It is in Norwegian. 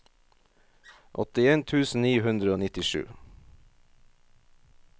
åttien tusen ni hundre og nittisju